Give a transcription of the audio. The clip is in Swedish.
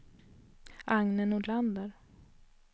Agne Nordlander